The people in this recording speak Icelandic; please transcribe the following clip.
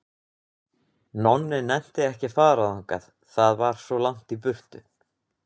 Nonni nennti ekki að fara þangað, það var svo langt í burtu.